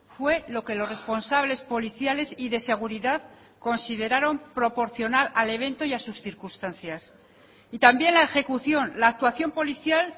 fue lo que los responsables policiales y de seguridad consideraron proporcional al evento y a sus circunstancias y también la ejecución la actuación policial